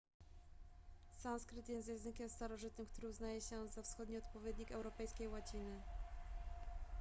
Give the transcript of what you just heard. sanskryt jest językiem starożytnym który uznaje się za wschodni odpowiednik europejskiej łaciny